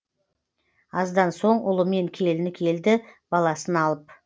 аздан соң ұлымен келіні келді баласын алып